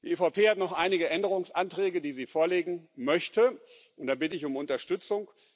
Die EVP hat noch einige Änderungsanträge, die sie vorlegen möchte, und da bitte ich um Unterstützung.